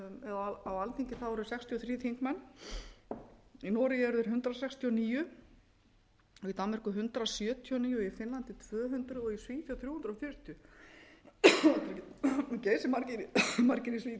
eða á alþingi eru sextíu og þrír þingmenn í noregi eru þeir hundrað sextíu og níu í danmörku hundrað sjötíu og níu og í finnlandi tvö hundruð og í